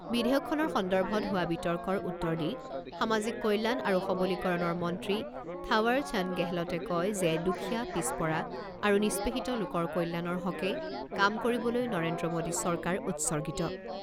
বিধেয়কখনৰ সন্দৰ্ভত হোৱা বিতৰ্কৰ উত্তৰ দি সামাজিক কল্যাণ আৰু সৱলীকৰণৰ মন্ত্ৰী থাৱাৰ চান্দ গেহলটে কয় যে দুখীয়া পিছপৰা আৰু নিষ্পেষিত লোকৰ কল্যাণৰ হকে কাম কৰিবলৈ নৰেন্দ্ৰ মোডী চৰকাৰ উৎসৰ্গিত।